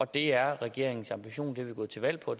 det er regeringens ambition det er vi gået til valg på